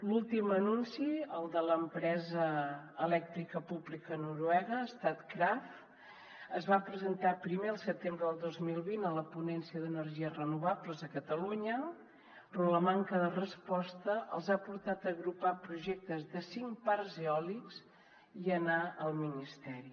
l’últim anunci el de l’empresa elèctrica pública noruega statkraft es va presentar primer el setembre del dos mil vint a la ponència d’energies renovables a catalunya però la manca de resposta els ha portat a agrupar projectes de cinc parcs eòlics i anar al ministeri